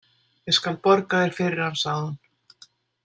Ég skal borga þér fyrir hann, sagði hún.